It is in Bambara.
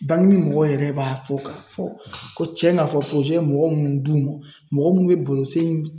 Bange mɔgɔw yɛrɛ b'a fɔ ka fɔ ,ko cɛn ka fɔ ye mɔgɔ mun d'u ma, mɔgɔ mun be baro sen